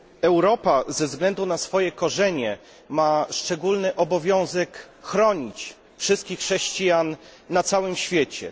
Europa ze względu na swoje korzenie ma szczególny obowiązek chronić wszystkich chrześcijan na całym świecie.